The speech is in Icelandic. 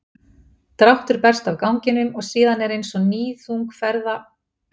dráttur berst af ganginum og síðan er eins og níðþung ferða